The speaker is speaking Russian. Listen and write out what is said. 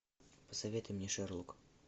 посоветуй мне шерлок